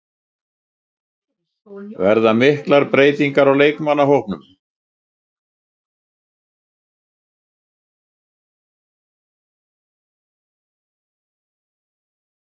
Verða miklar breytingar á liðinu og leikmannahópnum?